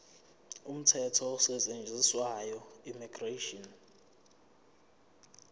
umthetho osetshenziswayo immigration